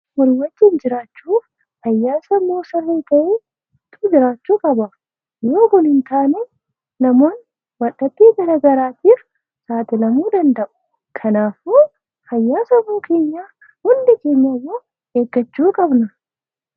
Wal hubachuun jiraachuuf fayyaa sammuu jiraachuu qaba. Yoo Kun hin taane namoonni wal dhabdee garaagaraatiif saaxilamuu danda'a. Kanaafuu fayyaa sammuu keenyaa hundi keenyayyuu eeggachuu qabna.